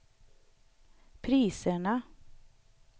priserna